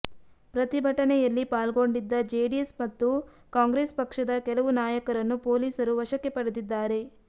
ಪ್ರತಿಭಟನೆಯಲ್ಲಿ ಪಾಲ್ಗೊಂಡಿದ್ದ ಜೆಡಿಎಸ್ ಮತ್ತು ಕಾಂಗ್ರೆಸ್ ಪಕ್ಷದ ಕೆಲವು ನಾಯಕರನ್ನು ಪೊಲೀಸರು ವಶಕ್ಕೆ ಪಡೆದಿದ್ದಾರೆ